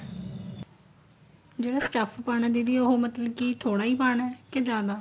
ਜਿਹੜਾ stuff ਪਾਣਾ ਦੀਦੀ ਉਹ ਮਤਲਬ ਕੀ ਥੋੜਾ ਹੀ ਪਾਣਾ ਕੇ ਜਿਆਦਾ